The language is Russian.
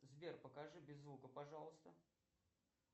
сбер покажи без звука пожалуйста